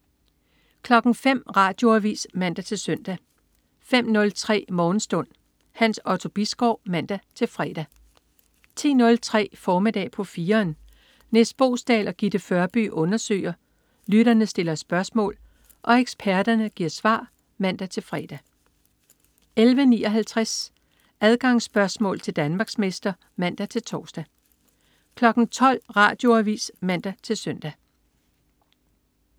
05.00 Radioavis (man-søn) 05.03 Morgenstund. Hans Otto Bisgaard (man-fre) 10.03 Formiddag på 4'eren. Nis Boesdal og Gitte Førby undersøger, lytterne stiller spørgsmål og eksperterne giver svar (man-fre) 11.59 Adgangsspørgsmål til Danmarksmester (man-tors) 12.00 Radioavis (man-søn)